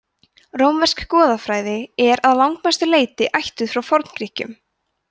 rómversk goðafræði er að langmestu leyti ættuð frá forngrikkjum